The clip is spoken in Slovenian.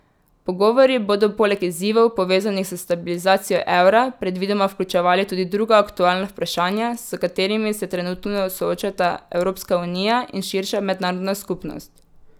Pogovori bodo poleg izzivov, povezanih s stabilizacijo evra, predvidoma vključevali tudi druga aktualna vprašanja, s katerimi se trenutno soočata Evropska unija in širša mednarodna skupnost.